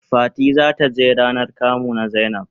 Fati za ta he ranan kamu na zainab.